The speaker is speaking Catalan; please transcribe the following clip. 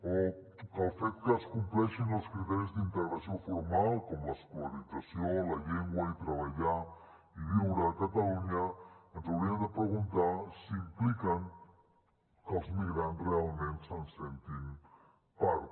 o que el fet que es compleixin els criteris d’integració formal com l’escolarització la llengua i treballar i viure a catalunya ens hauríem de preguntar si implica que els migrants realment se’n sentin part